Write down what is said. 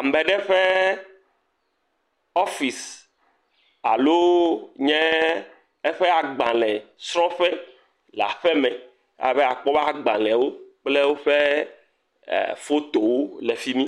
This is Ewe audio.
Ame eɖe offise alo e e eƒe agbalẽ aƒe le aƒe me. Abe akpɔwo ƒe agbalẽwo kple woƒe fotowo le fimi.